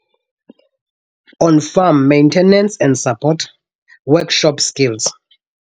On Farm Maintenance and Support, Workshop Skills.